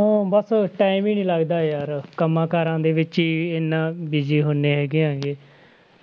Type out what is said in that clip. ਊਂ ਬਸ time ਹੀ ਨੀ ਲੱਗਦਾ ਯਾਰ ਕੰਮਾਂ ਕਾਰਾਂ ਦੇ ਵਿੱਚ ਹੀ ਇੰਨਾ busy ਹੁੰਦੇ ਹੈਗੇ ਆ ਗੇ